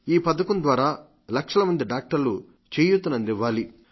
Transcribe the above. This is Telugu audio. ఈ పథకం ద్వారా లక్షల మంది వైద్యులు చేయూతనందివ్వాలి